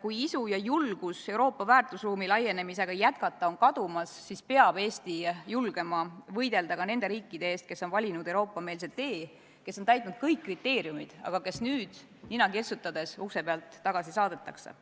kui isu ja julgus Euroopa väärtusruumi laienemisega jätkata on kadumas, siis peab Eesti julgema võidelda ka nende riikide eest, kes on valinud Euroopa-meelse tee, kes on täitnud kõik kriteeriumid, aga kes nüüd nina kirtsutades ukse pealt tagasi saadetakse.